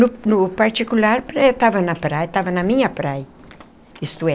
No no particular, eu estava na praia estava na minha praia, isto é,